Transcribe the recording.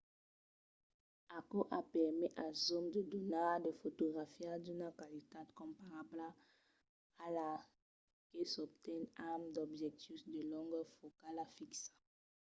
aquò a permés als zooms de donar de fotografias d’una qualitat comparabla a la que s’obten amb d’objectius de longor focala fixa